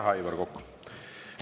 Aitäh, Aivar Kokk!